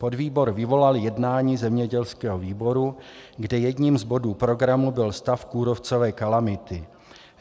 Podvýbor vyvolal jednání zemědělského výboru, kde jedním z bodů programu byl stav kůrovcové kalamity.